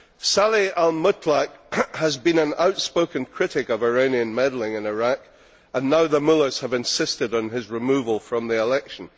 Saleh al Mutlaq has been an outspoken critic of Iranian meddling in Iraq, and now the mullahs have insisted on his removal from the election.